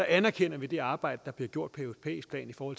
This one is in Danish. anerkender vi det arbejde der bliver gjort på europæisk plan for